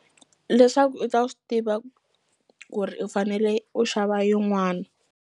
Leswaku i ta swi tiva ku ri u fanele u xava yin'wani.